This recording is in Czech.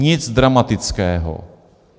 Nic dramatického.